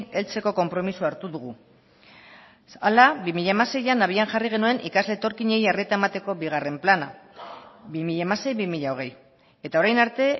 heltzeko konpromisoa hartu dugu hala bi mila hamaseian abian jarri genuen ikasle etorkinei arreta emateko bigarren plana bi mila hamasei bi mila hogei eta orain arte